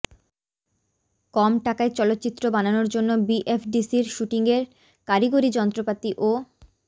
কম টাকায় চলচ্চিত্র বানানোর জন্য বিএফডিসির শুটিংয়ের কারিগরি যন্ত্রপাতি ও